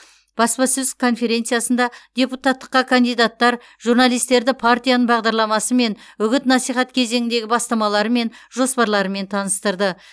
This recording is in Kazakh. баспасөз конференциясында депутаттыққа кандидаттар журналистерді партияның бағдарламасымен үгіт насихат кезеңіндегі бастамалары мен жоспарларымен таныстырды